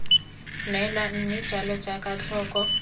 neelwa mme jalo jaaka tlhoko